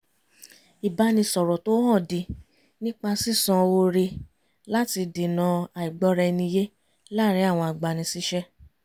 ìbánisọ̀rọ̀ tó hànde nípa sisan oore láti dènà àìgbọ́ra ẹni yé láàrin àwọn agbani síṣẹ́